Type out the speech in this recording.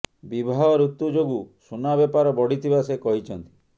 ବିବାହ ଋତୁ ଯୋଗୁଁ ସୁନା ବେପାର ବଢ଼ିଥିବା ସେ କହିଛନ୍ତି